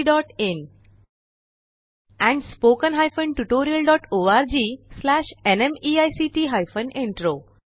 oscariitbacइन and spoken tutorialorgnmeict intro